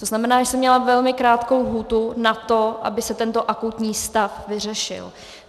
To znamená, že jsem měla velmi krátkou lhůtu na to, aby se tento akutní stav vyřešil.